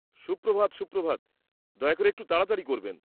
সুপ্রভাত সুপ্রভাত, দয়া করে একটু তাড়াতাড়ি করবেন।